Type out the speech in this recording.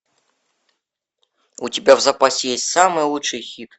у тебя в запасе есть самый лучший хит